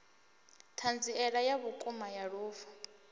thanziela ya vhukuma ya lufu